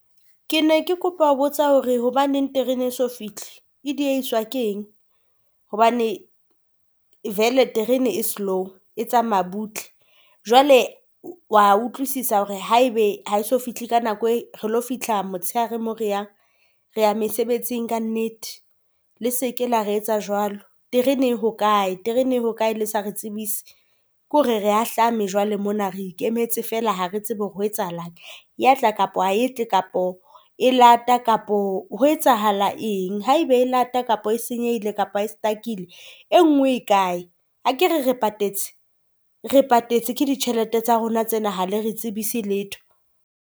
Ke ne ke kopa ho botsa hore hobaneng terene e eso fihle? E dieiswa ke eng. Hobane vele terene e slow e tsamaya butle jwale wa utlwisisa hore haebe ha eso fihle ka nako e, re lo fihla motsheare moo re yang. Re ya mesebetsing ka nnete le seke la re etsa jwalo. Terene e hokae? Terene e hokae le sa re tsebise? Ke hore re ahlame jwale mona re ikemetse fela. Ha re tsebe hore ho etsahalang ya tla kapa ha etle kapo e lata, kapa ho etsahala eng. Haebe e lata kapo ho senyehile kapa e stuck-ile enngwe e kae? Akere re patetse. Re patetse ke ditjhelete tsa rona tsena ha le re tsebise letho.